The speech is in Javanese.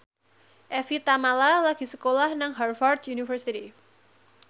Evie Tamala lagi sekolah nang Harvard university